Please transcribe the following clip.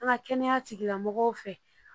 An ka kɛnɛya tigilamɔgɔw fɛ